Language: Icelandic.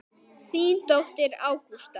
Þín dóttir, Ágústa.